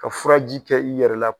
Ka furaji kɛ i yɛrɛ la